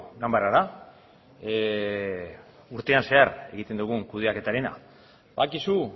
ganbarara urtean zehar egiten dugun kudeaketarena badakizu